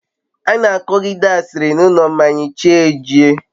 ana akogide asiri n'ulo mmanya chi jie